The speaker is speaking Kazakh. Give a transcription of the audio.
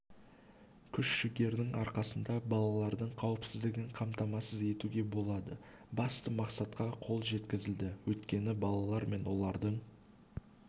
күш-жігердің арқасында балалардың қауіпсіздігін қамтамасыз етуге болады басты мақсатқа қол жеткізілді өйткені балалар мен олардың